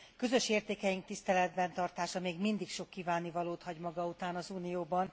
Közös értékeink tiszteletben tartása még mindig sok kívánnivalót hagy maga után az Unióban.